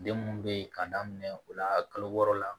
Den mun be yen k'a daminɛ o la kalo wɔɔrɔ la